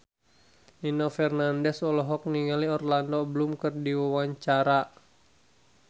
Nino Fernandez olohok ningali Orlando Bloom keur diwawancara